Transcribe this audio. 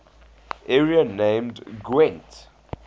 area named gwent